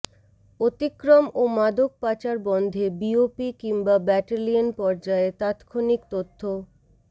অতিক্রম ও মাদক পাচার বন্ধে বিওপি কিংবা ব্যাটালিয়ন পর্যায়ে তাৎক্ষণিক তথ্য